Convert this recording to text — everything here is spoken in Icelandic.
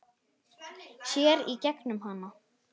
Sér í gegnum hana.